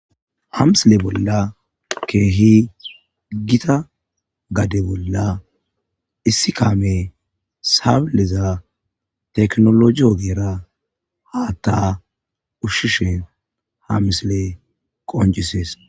ha misile bolla keehi gita gade bolla issi kaame saableza teknologiyogeera haa ta ushshishen ha misile qoncisees